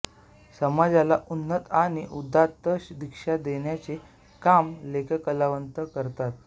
समाजाला उन्नत आणि उदात्त दिशा देण्याचे काम लेखककलावंत करतात